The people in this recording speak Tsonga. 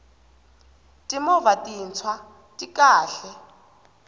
timovha tintshwa ti kahle